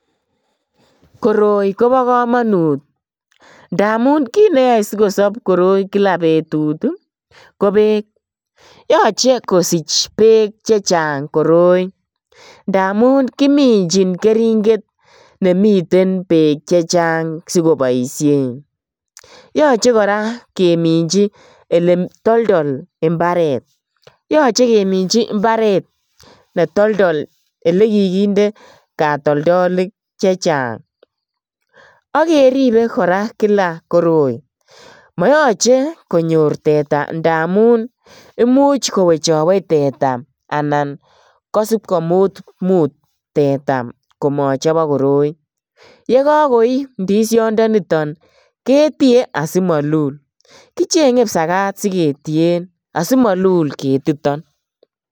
Koroi kobo kamanut ndamun kit neyoe sikosop koroi kila betut ko beek. Yoche kosich beek che chang koroi ngamun kiminjin keringet ne miten beek che chang sikobaisien. Yoche kora keminji eletoldol imbaret yoche keminji imbaret netoldol elekikinde katoldolik che chang ak keribe kora kila koroi. Moyoche konyor teta ndamun imuch kowechawech teta anan kosip komut teta komochobok koroi. Yekakoi ndisiondoniton ketie asimalul. Kichenge kipsagat siketien asimalul ketiton.